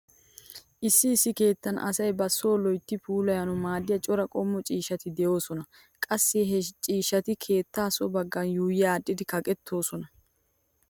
Issi issi keettan asay ba so loytti puulayanawu maaddiya cora qommo ciishshati de'oosona. Qassi he ciishshati keettaa so baggan yuuyyi aadhdhidi kaqettoosona.